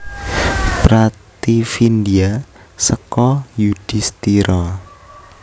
Prativindya seka Yudhistira